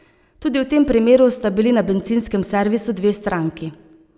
Tudi v tem primeru sta bili na bencinskem servisu dve stranki.